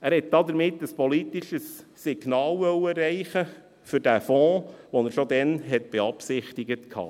Er wollte damit ein politisches Signal für den Fonds erreichen, den er schon damals beabsichtigte.